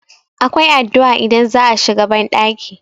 akwai addu'a idan za a shiga bandaki